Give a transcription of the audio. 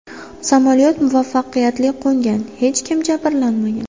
Samolyot muvaffaqiyatli qo‘ngan, hech kim jabrlanmagan.